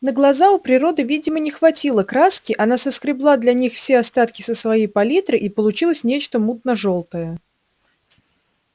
на глаза у природы видимо не хватило краски она соскребла для них все остатки со своей палитры и получилось нечто мутно жёлтое